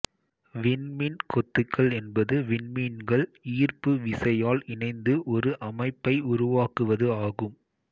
விண்மீன் கொத்துகள் என்பது விண்மீன்கள் ஈர்ப்பு விசையால் இணைந்து ஒரு அமைப்பை உருவாக்குவது ஆகும்